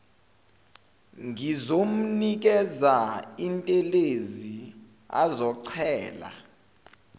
ngizomnikeza intelezi azochela